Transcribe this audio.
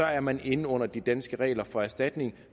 er man inde under de danske regler for erstatning